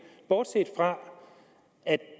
bortset fra